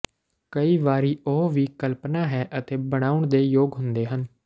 ਕਈ ਵਾਰੀ ਉਹ ਵੀ ਕਲਪਨਾ ਹੈ ਅਤੇ ਬਣਾਉਣ ਦੇ ਯੋਗ ਹੁੰਦੇ ਹਨ